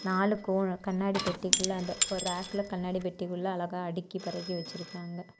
நாளுக்கும் கண்ணாடி பெட்டிக்குள்ள ஒரு அந்தப் ரேக்ளா கண்ணாடி பெட்டிக்குள்ள அழகா அடிக்கி பருகி வச்சிருக்காங்க.